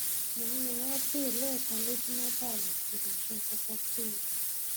mò ń lo advil lẹ́ẹ̀kan lójúmọ́ báyìí kò dẹ̀ ṣe nǹkankan sí i